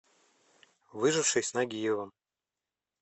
выживший с нагиевым